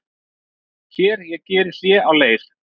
Hér ég geri hlé á leir